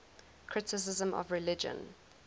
criticism of religion